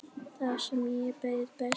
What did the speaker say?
Þar sem þér leið best.